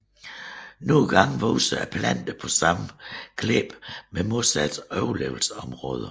Nogle gange vokser planter på samme klippe med modsatte overlevelsesmåder